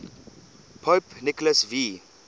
pope nicholas v